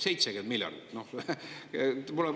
70 miljardit?